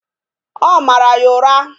Ọ mara ya ụra